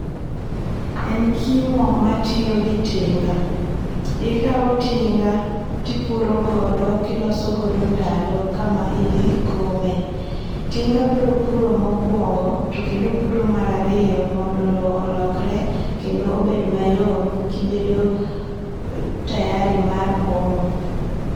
En kimo matiyo gi tinga, ikaw tinga tipuro godo kiloso godo ndalo kama idhi kome. Tinga biro puro mokuongo to kendo opuro mar ariyo mondo loo olokre kendo obed mayom kibedo tayari mar komo